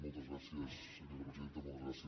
moltes gràcies senyora presidenta moltes gràcies president